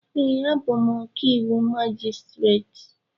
Ee, abụ m ọkàiwụ majistreti